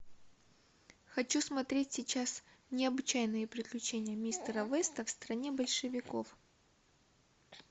хочу смотреть сейчас необычайные приключения мистера веста в стране большевиков